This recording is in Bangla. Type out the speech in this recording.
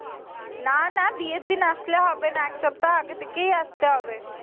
না না বিয়ের দিন আসলে হবে না। এক সপ্তা আগে থেকেই আসতে হবে।